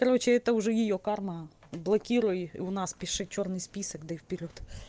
короче это уже её карма блокируй у нас пиши чёрный список да и вперёд